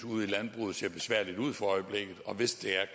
ser besværligt ud for øjeblikket og hvis der er